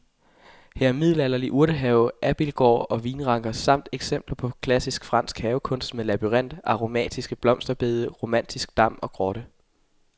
Her er middelalderlig urtehave, abildgård og vinranker samt eksempler på klassisk fransk havekunst med labyrint, aromatiske blomsterbede, romantisk dam og grotte.